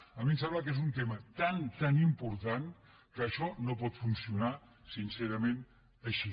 a mi em sembla que és un tema tan tan important que això no pot funcionar sincerament així